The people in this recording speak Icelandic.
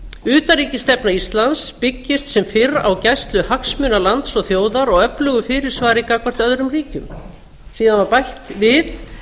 utanríkisstefna íslands byggist sem fyrr á gæslu hagsmuna lands og þjóðar og öflugu fyrirsvari gagnvart öðrum ríkjum síðan var bætt við